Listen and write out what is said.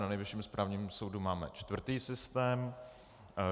Na Nejvyšším správním soudu máme čtvrtý systém.